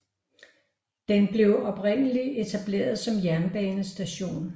Den blev oprindeligt etableret som jernbanestation